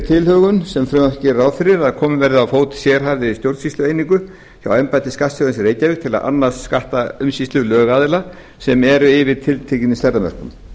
tilhögun sem frumvarpið gerir ráð fyrir að komið verði á fót sérhæfðri stjórnsýslueiningu hjá embætti skattstjórans í reykjavík til að annast skattaumsýslu lögaðila sem eru yfir tilteknum stærðarmörkum